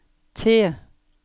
T